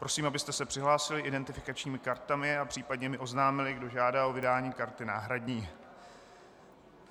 Prosím, abyste se přihlásili identifikačními kartami a případně mi oznámili, kdo žádá o vydání karty náhradní.